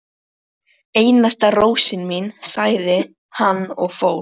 Einasta rósin mín, sagði hann og fór.